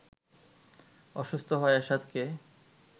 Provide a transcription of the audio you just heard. অসুস্থ হওয়ায় এরশাদকে